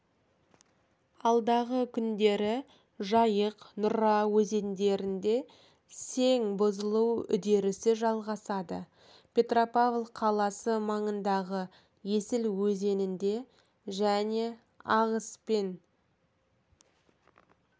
алдағы күндері жайық нұра өзендерінде сең бұзылу үдерісі жалғасады петропавл қаласы маңындағы есіл өзенінде және ағыспен